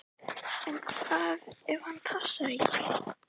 En hvað ef hann passar ekki?